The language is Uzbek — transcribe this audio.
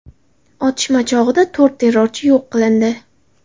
Otishma chog‘ida to‘rt terrorchi yo‘q qilindi.